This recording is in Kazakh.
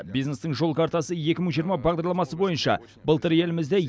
бизнестің жол картасы екі мың жиырма бағдарламасы бойынша былтыр елімізде